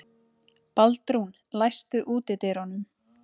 Baldrún, læstu útidyrunum.